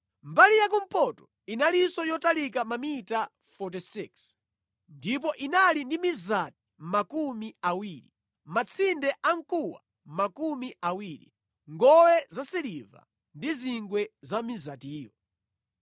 Mbali yakumpoto inalinso yotalika mamita 46 ndipo inali ndi mizati makumi awiri, matsinde amkuwa makumi awiri, ngowe zasiliva ndi zingwe za mizatiyo.